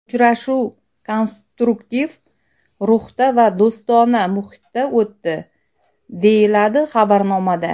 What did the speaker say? Uchrashuv konstruktiv ruhda va do‘stona muhitda o‘tdi, deyiladi xabarnomada.